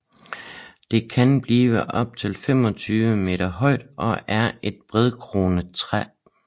Det kan blive op til 25 m højt og er et bredkronet træ